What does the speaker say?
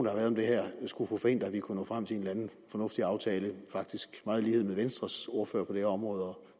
har været om det her skulle få forhindret at vi kunne nå frem til en eller anden fornuftig aftale det faktisk meget i lighed med venstres ordfører på det her område og